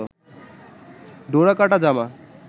ডোরাকাটা জামা